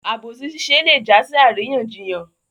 Àbòsí ṣiṣẹ́ lé jásí àríyànjiyàn